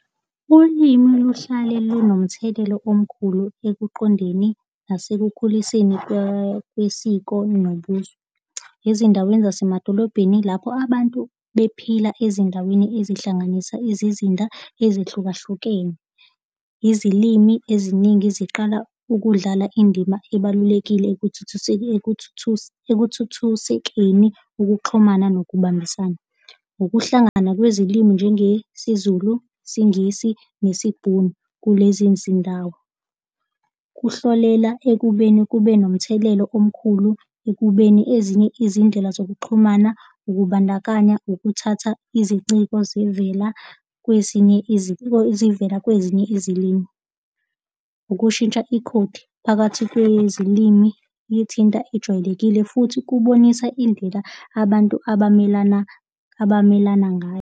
Ulimi luhlale lunomthelela omkhulu ekuqondeni nasekukhuliseni kwesiko nobuzwe. Ezindaweni zasemadolobheni ilapho abantu bephila ezindaweni ezihlanganisa izizinda ezihlukahlukene. Izilimi eziningi eziqala ukudlala indima ebalulekile ekuthuthusekeni ukuxhumana nokubambisana. Ukuhlangana kwezilimi njengesiZulu, siNgisi nesiBhunu kulezi zindawo. Kuhlolela ekubeni kube nomthelelo omkhulu ekubeni ezinye izindlela zokuxhumana, ukubandakanya, nokuthatha iziciko zivela kwezinye zivela kwezinye izilimi. Ukushintsha ikhodi phakathi kwezilimi lithinta ejwayelekile futhi kubonisa indlela abantu abamelana, abamelana ngayo.